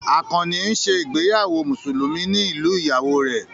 Àkànnì ń ṣe ìgbéyàwó Mùsùlùmí ní ìlú ìyàwó rẹ̀